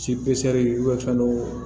fɛn dɔw